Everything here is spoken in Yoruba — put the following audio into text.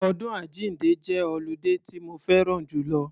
Ọdún àjínde jẹ́ ọludé tí mo fẹ́ran jùlọ.